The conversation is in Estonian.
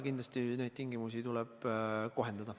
Kindlasti neid tingimusi tuleb kohendada.